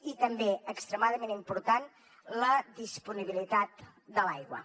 i també extremadament important la disponibilitat de l’aigua